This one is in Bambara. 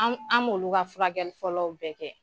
Anw an b'olu ka furakɛli fɔlɔw bɛɛ kɛ.